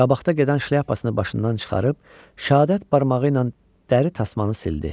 Qabaqda gedən şlyapasını başından çıxarıb şəhadət barmağı ilə dəri tasmanı sildi.